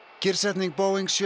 kyrrsetning Boeing sjö